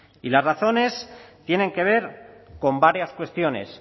y las razones tienen que ver con varias cuestiones